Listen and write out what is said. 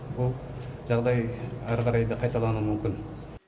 ол жағдай әрі қарай да қайталануы мүмкін